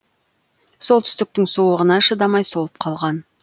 солтүстіктің суығына шыдамай солып қалған